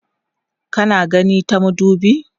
kana gani ta madubi?